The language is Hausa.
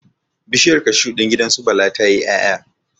Bishiyar cashu din gidan su Bala tayi 'yaya